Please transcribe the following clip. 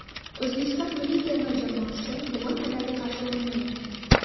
O‘zbekiston milliy terma jamoasi bugun Qatarga qarshi o‘ynaydi.